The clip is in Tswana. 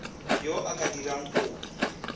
yo o ka dirang kopo